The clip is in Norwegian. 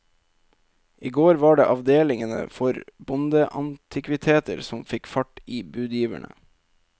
I går var det avdelingene for bondeantikviteter som fikk fart i budgiverne.